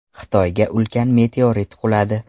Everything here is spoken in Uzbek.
Xitoyga ulkan meteorit quladi.